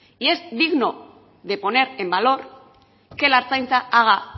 y es digno de poner en valor que la ertzaintza haga